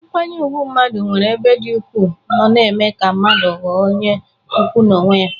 Nkwanye ùgwù mmadụ nwere n'ebe ndị ukwu nọ na-eme ka mmadụ ghọọ onye ukwu n'onwe ya.